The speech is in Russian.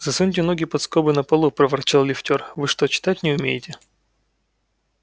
засуньте ноги под скобы на полу проворчал лифтёр вы что читать не умеете